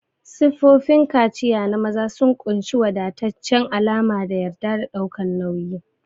Siffofin kaciya na maza sun ƙunshi wadataccen alama da yarda da ɗaukan nauyi.